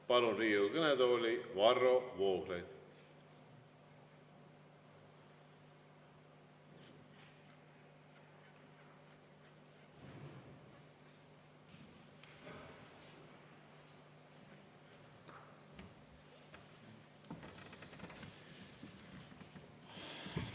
Palun Riigikogu kõnetooli, Varro Vooglaid!